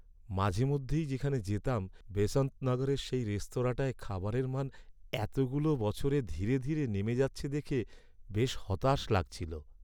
মাঝেমধ্যেই যেখানে যেতাম, বেসান্ত নগরের সেই রেস্তোরাঁটায় খাবারের মান এতগুলো বছরে ধীরে ধীরে নেমে যাচ্ছে দেখে বেশ হতাশ লাগছিল।